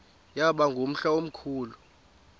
yaba ngumhla omkhulu